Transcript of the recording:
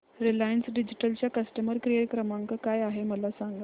Reliance Digital चा customer care क्रमांक काय आहे मला सांगा